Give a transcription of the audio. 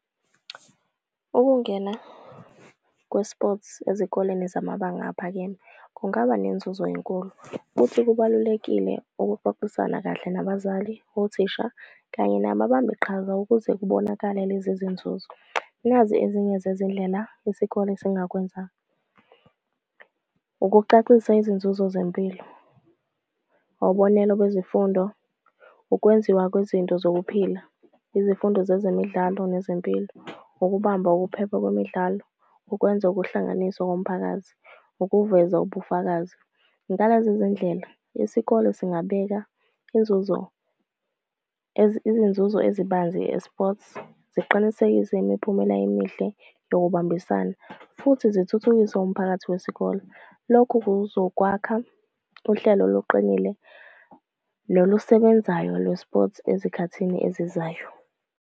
Ukungena kwe-eSports ezikoleni zamabanga aphakeme kungaba nenzuzo enkulu. Futhi kubalulekile ukuxoxisana kahle nabazali, othisha, kanye nababambi qhaza ukuze kubonakale lezi zinzuzo. Nazi ezinye zezindlela isikole esingakwenza. Ukucacisa izinzuzo zempilo, kwezifundo, ukwenziwa kwezinto zokuphila, izifundo zezemidlalo nezempilo, ukubamba ukuphepha kwemidlalo, ukwenza ukuhlanganiswa komphakathi, ukuveza ubufakazi. Ngalezi zindlela isikole singabeka inzuzo izinzuzo ezibanzi i-eSports, ziqinisekise imiphumela emihle yokubambisana, futhi zithuthukise umphakathi wesikole. Lokhu kuzokwakha uhlelo oluqinile nolusebenzayo lwe-eSports ezikhathini ezizayo.